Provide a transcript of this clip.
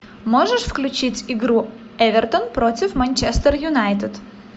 можешь включить игру эвертон против манчестер юнайтед